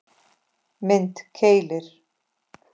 Mynd: Keilir